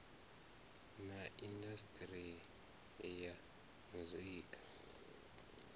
na indas ri ya muzika